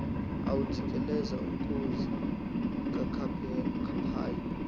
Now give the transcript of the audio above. awujikeleza umkhosi kancaphayi